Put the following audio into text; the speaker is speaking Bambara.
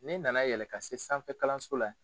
Ne na na yɛlɛ ka se sanfɛ kalanso la.